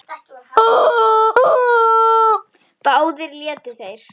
Báðir létu þeir